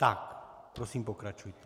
Tak prosím, pokračujte.